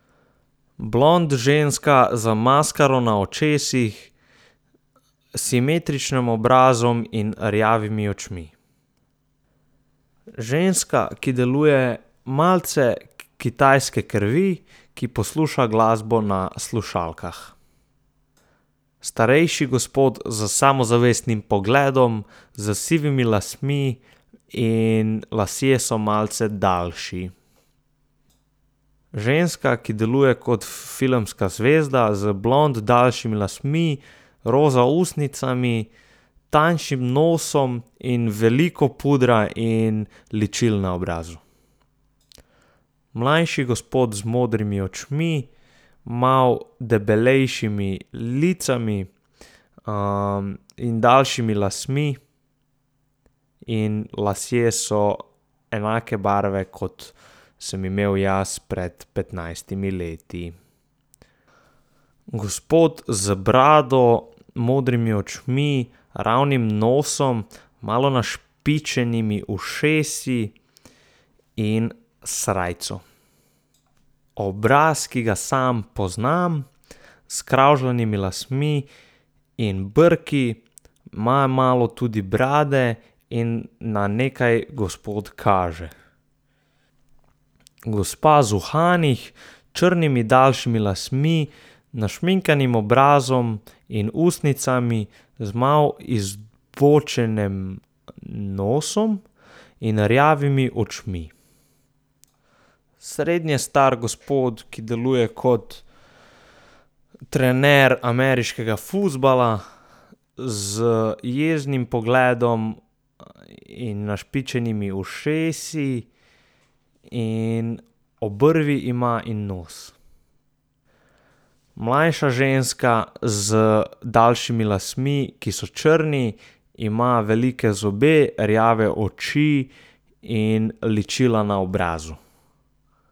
Blond ženska z maskaro na očesih, simetričnim obrazom in rjavimi očmi. Ženska, ki deluje malce kitajske krvi, ki posluša glasbo na slušalkah. Starejši gospod s samozavestnim pogledom, s sivimi lasmi in lasje so malce daljši. Ženska, ki deluje kot filmska zvezda, z blond daljšimi lasmi, roza ustnicami, tanjšim nosom in veliko pudra in ličil na obrazu. Mlajši gospod z modrimi očmi, malo debelejšimi lici, in daljšimi lasmi in lasje so enake barve, kot sem imel jaz pred petnajstimi leti. Gospod z brado, modrimi očmi, ravnim nosom, malo našpičenimi ušesi, in srajco. Obraz, ki ga sam poznam, s skravžanimi lasmi in brki, ima malo tudi brade in na nekaj gospod kaže. Gospa z uhani, črnimi daljšimi lasmi, našminkanim obrazom in ustnicami, z malo izbočenem nosom in rjavimi očmi. Srednje star gospod, ki deluje kot trener ameriškega fuzbala, z jeznim pogledom in našpičenimi ušesi in obrvi ima in nos. Mlajša ženska z daljšimi lasmi, ki so črni, ima velike zobe, rjave oči in ličila na obrazu.